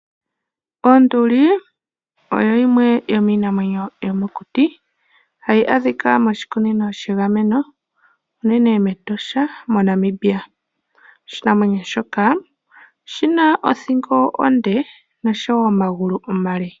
Onduli oyo yimwe yomiinamwenyo yomokuti hayi adhika moshikunino shegameno unene mEtosha mo Namibia, oshinamwenyo shika oshina othingo onde noshowo omagulu omale.